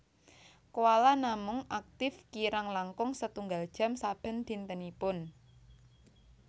Koala namung aktif kirang langkung setunggal jam saben dintenipun